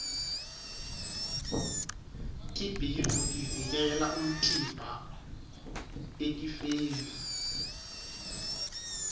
tibhidvo tivikela umtimba etifeni